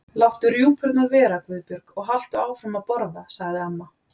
Láttu rjúpurnar vera, Guðbjörg, og haltu áfram að borða sagði amma.